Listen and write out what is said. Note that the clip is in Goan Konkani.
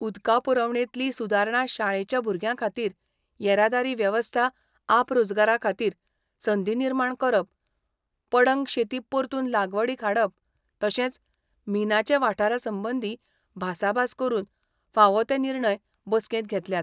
उदका पुरवणेंतली सुदारणा शाळेच्या भुरग्यां खातीर येरादारी वेवस्था आपरोजगारा खातीर संदी निर्माण करप, पडंग शेती परतून लागवडीक हाडप तशेंच मिनाचे वाठारा संबंदी भासाभास करून फावो ते निर्णय बसकेंत घेतल्यात.